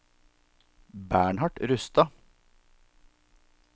Bernhard Rustad